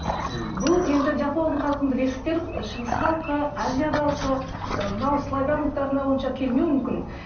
мхм бұл енді жапон халқын білесіздер шығыс халқы азия халқы ы мынау славян ұлттарына онша келмеуі мүмкін